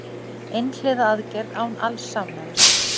Einhliða aðgerð án alls samráðs